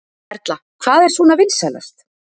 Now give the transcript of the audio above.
Erla: Hvað er svona vinsælast?